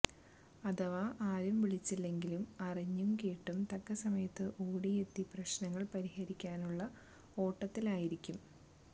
അഥവാ ആരും വിളിച്ചില്ലെങ്കിലും അറിഞ്ഞു കേട്ട് തക്ക സമയത്ത് ഓടിയെത്തി പ്രശ്നങ്ങൾ പരിഹരിക്കാനുള്ള ഓട്ടത്തിലായിരിക്കും